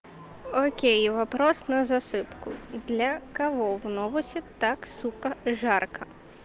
окей вопрос на засыпку для кого в новусе так сука жарко